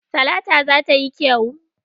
Talata za ta yi kyau.